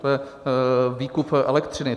To je výkup elektřiny.